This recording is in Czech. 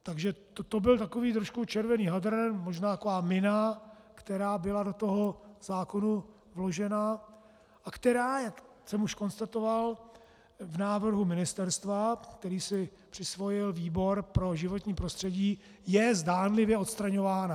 Takže to byl takový trošku červený hadr, možná taková mina, která byla do toho zákona vložena a která, jak jsem už konstatoval, v návrhu ministerstva, který si přisvojil výbor pro životní prostředí, je zdánlivě odstraňována.